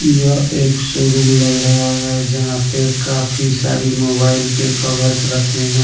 यह एक शोरूम लग रहा है जहां पे काफी सारी मोबाइल के कवर्स रखे हैं।